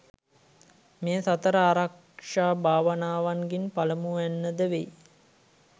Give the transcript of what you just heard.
මෙය සතර ආරක්‍ෂා භාවනාවන්ගෙන් පළමුවැන්න ද වෙයි.